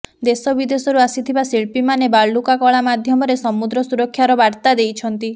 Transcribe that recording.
ଦେଶ ବିଦେଶରୁ ଆସିଥିବା ଶିଳ୍ପୀମାନେ ବାଲୁକା କଳା ମାଧ୍ୟମରେ ସମୁଦ୍ର ସୁରକ୍ଷାର ବାର୍ତ୍ତା ଦେଇଛନ୍ତି